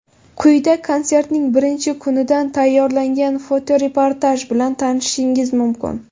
Quyida konsertning birinchi kunidan tayyorlangan fotoreportaj bilan tanishishingiz mumkin.